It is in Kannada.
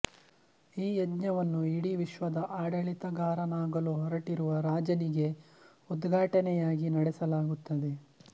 ಈ ಯಜ್ಞವನ್ನು ಇಡೀ ವಿಶ್ವದ ಆಡಳಿತಗಾರನಾಗಲು ಹೊರಟಿರುವ ರಾಜನಿಗೆ ಉದ್ಘಾಟನೆಯಾಗಿ ನಡೆಸಲಾಗುತ್ತದೆ